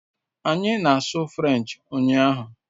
Anyị na-asụ French ụnyahụ